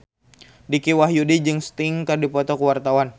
Dicky Wahyudi jeung Sting keur dipoto ku wartawan